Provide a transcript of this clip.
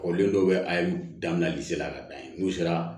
Kɔrɔlen dɔw bɛ a ye danli sira ka da yen n'u sera